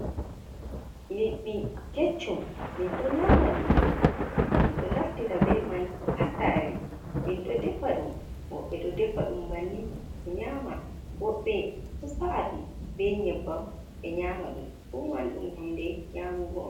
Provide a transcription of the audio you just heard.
liɗɗi keccum min ɗo nyaama liddi min ɗo naftira bee man haa saare min ɗo defa ɗum, woɓɓe ɗo defa ɗum bannin ɓe nyaama, woɓɓe to sa’a ɗum bee nyebbam ɓe nyaama ɗum, fuu man ɗum huunde nyaamugo.